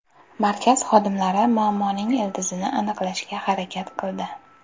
Markaz xodimlari muammoning ildizini aniqlashga harakat qildi.